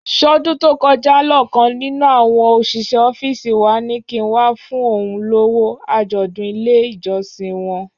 Ṣọ́dún tó kọjá lọ̀kan nínú àwọn òṣìṣẹ́ ọ́fíìsì wa ní kí n wá fún òun lówó àjọ̀dún ilé ìjọsìn wọn?